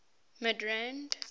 midrand